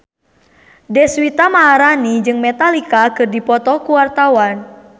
Deswita Maharani jeung Metallica keur dipoto ku wartawan